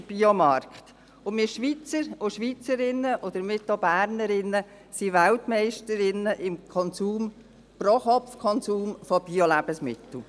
Wir Schweizer und Schweizerinnen, und damit auch Bernerinnen, sind Weltmeisterinnen im Pro-KopfKonsum von Biolebensmitteln.